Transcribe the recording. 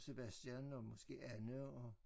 Sebastian og måske Anne og